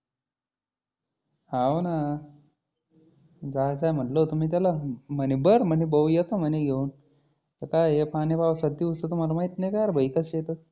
हाव ना. जाय जाय म्हटलं होतं मी त्याला म्हणी बरं म्हणी भो येतो म्हणी घेऊन. आता काय आहे हे पाणि पावसाचे दिवस तुम्हाला माहिती नाही का भाई कशे आहेत.